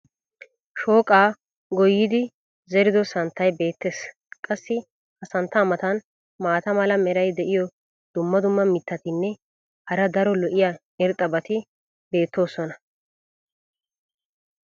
shooqqaa goyidi zeriddo santtay beetees. qassi ha santtaa matan maata mala meray diyo dumma dumma mitatinne hara daro lo'iya irxxabati beetoosona.